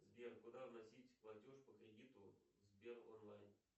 сбер куда вносить платеж по кредиту в сбер онлайн